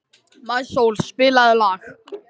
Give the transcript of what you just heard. Maísól, spilaðu lag.